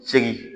Segin